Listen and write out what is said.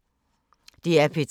DR P3